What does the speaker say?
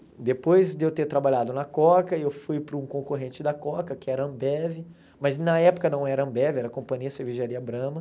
Depois de eu ter trabalhado na Coca, eu fui para um concorrente da Coca, que era a Ambev, mas na época não era a Ambev, era a Companhia Cervejaria Brahma.